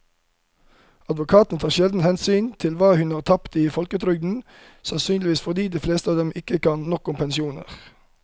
Advokatene tar sjelden hensyn til hva hun har tapt i folketrygden, sannsynligvis fordi de fleste av dem ikke kan nok om pensjoner.